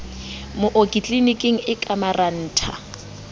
mooki tliliniking e ka marantha